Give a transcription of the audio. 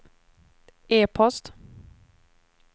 e-post